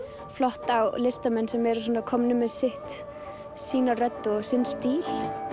flotta listamenn sem eru komnir með sitt sína rödd og sinn stíl